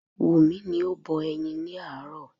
Wumi ni o bọ ẹyin ni aaro